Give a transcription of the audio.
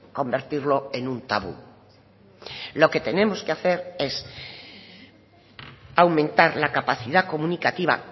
convertirlo en un tabú lo que tenemos que hacer es aumentar la capacidad comunicativa